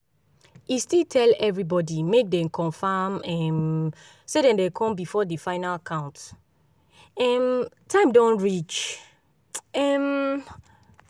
e still tell everybody make dem confirm um say dem dey come before the final count um time reach um